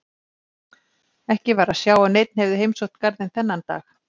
Ekki var að sjá að neinn hefði heimsótt garðinn þennan dag.